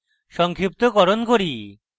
সংক্ষিপ্তকরণ করি